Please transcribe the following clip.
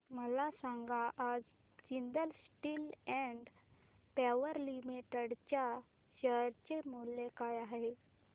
मला सांगा आज Jindal steel and power limited च्या शेअर चे मूल्य काय आहे